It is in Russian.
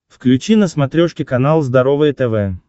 включи на смотрешке канал здоровое тв